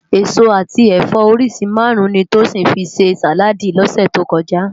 Esó ati ẹfọ óriṣi márùn ni Tosin fi sé sáládì lòsè tó kòjá